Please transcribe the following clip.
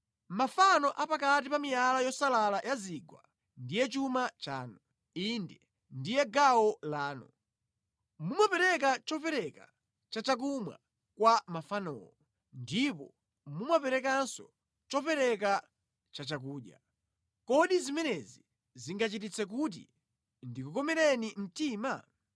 Mafano a pakati pa miyala yosalala ya mu zigwa ndiye chuma chanu. Inde, ndiye gawo lanu. Mumapereka chopereka cha chakumwa kwa mafanowo, ndipo mumaperekanso chopereka cha chakudya. Kodi zimenezi zingandichititse kuti ndikukomereni mtima?